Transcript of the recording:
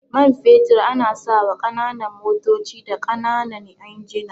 Man fetur ana sawa ƙananan motoci da ƙananan injina.